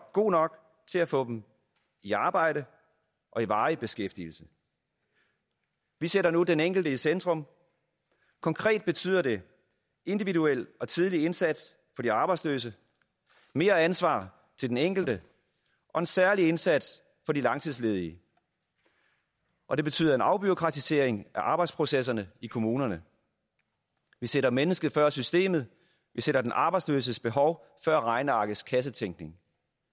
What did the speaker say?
god nok til at få dem i arbejde og i varig beskæftigelse vi sætter nu den enkelte i centrum konkret betyder det individuel og tidlig indsats for de arbejdsløse mere ansvar til den enkelte og en særlig indsats for de langtidsledige og det betyder en afbureaukratisering af arbejdsprocesserne i kommunerne vi sætter mennesket før systemet vi sætter den arbejdsløses behov før regnearkets kassetænkning